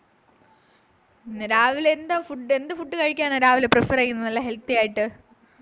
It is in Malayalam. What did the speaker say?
രാവിലെ എന്താ food എന്ത് food കഴിക്കാന രാവിലെ prefer ചെയ്യുന്നേ നല്ല healthy ആയിട്ട്